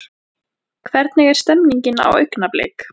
Hvernig er stemningin hjá Augnablik?